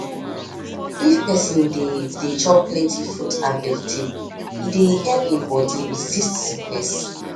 if persin dey dey chop plenty fruit and vegetable e dey help hin body resist sickness